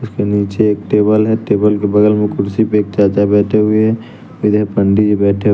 उसके नीचे एक टेबल है टेबल के बगल में कुर्सी पे एक चाचा बैठे हुए हैं इधर पंडित जी बैठे --